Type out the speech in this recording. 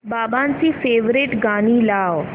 बाबांची फेवरिट गाणी लाव